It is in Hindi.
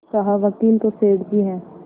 कहावकील तो सेठ जी हैं